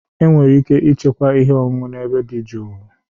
Enwere ike ịchekwa ihe ọṅụṅụ na ebe dị jụụ.